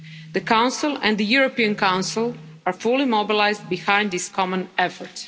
The Council and the European Council are fully mobilised behind this common effort.